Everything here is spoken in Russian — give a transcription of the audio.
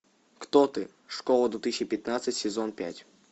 кто ты школа две тысячи пятнадцать сезон пять